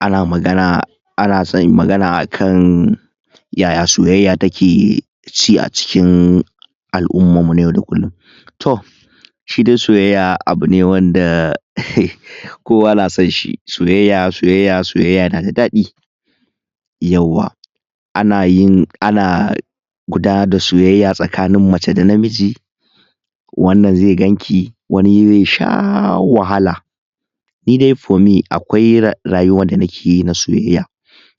Ana magana... ana san amagana akan yaya soyayya take ci a cikin al'ummar mu na yau da kullum. To shi dai soyayya abune wanda um kowa na sanshi soyayya soyayya soyyaya nada dadi, yauwa. Anayin, ana gudanar da soyayya tsakanin mace da namiji wannan zai ganki wani zai sha wahala ni dai for me akwai rayuwar da nikeyi na soyayya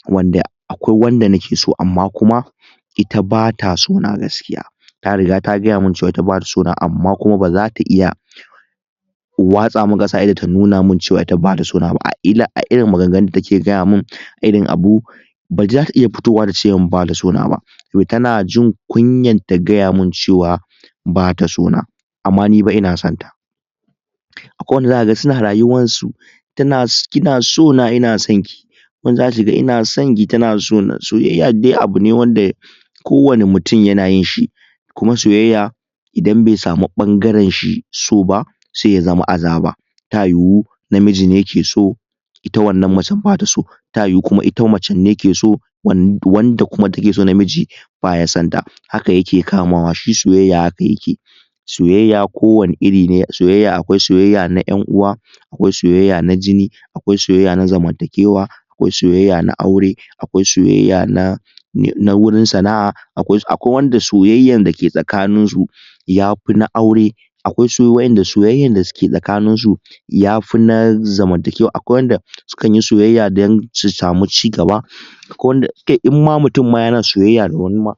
wanda akwai wanda nike so amma kuma, ita bata sona gaskiya ta riga ta gaya man cewa ita bata sona gaskiya amma kuma ba zata iya watsa min kasa a ido ta nuna man cewa ita bata sona ba a irin maganganun da take gaya man irin abu badai zata iya fitowa tace man bata sona na ba tana jin kunyar ta gaya man cewa ba ta sona, amma nifa ina sonta. Akwai wanda zaka ga suna rayuwan su tana kina sona ina sonki wani zakaga kina sonki tana sona soyayya dai abune wanda ko wane mutum yana yinshi kuma soyayya idan bai samu bangaren shi so ba sai ya zama azaba ta yiwu namiji ne ke so ita wannan macen bata so ta yiwu kuma ita macen ne ke so wanda kuma take so namiji baya sonta haka yake kamawa shi soyayya haka yake soyayya ko wane iri ne a soyayya akwai soyayya na yan'uwa akwai soyayya na jini akwai soyayya na zamantakewa akwai soyayya na aure akwai soyayya na na wurin sana'a akwai wanda soyayyan dake tsakanin su yafi na aure akwai wadanda soyayyan da suke tsakanin su yafi na zamantakewa akwai wadanda sukan yi soyayya don su samu ci gaba akwai wanda kai in ma mutum ma yana soyayya da wani ma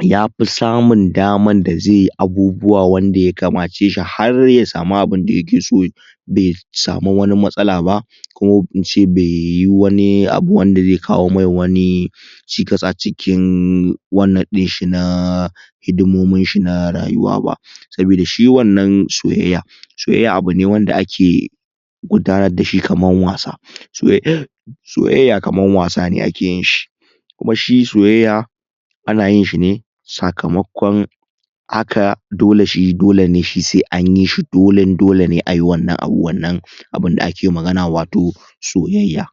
yafi samun daman da zai abubuwa wanda ya kamace shi har ya samu abinda yake so bai samu wani matsala ba ko ince bai yi wani abu wanda zai kawo mai wani cikas a cikin wannan dinshi na hidimomin shi na rayuwa ba, sabida shi wannan soyayya, soyayya abune wanda ake gudanar da shi kamar wasa soyayya kamar wasa ne akeyin shi kuma shi soyayya anayin shi ne sakamakon. haka dole shi dole ne shi sai anyi shi dolen dole ne ayi wannan abu abinda ake magana wato soyayya.